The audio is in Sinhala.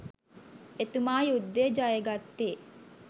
එතුමා යුද්ධය ජය ගත්තේ